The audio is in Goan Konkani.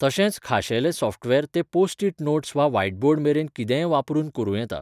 तशेंच खाशेलें सॉफ्टवेअर ते पोस्ट इट नोट्स वा व्हाइटबोर्ड मेरेन कितेंय वापरून करूं येता.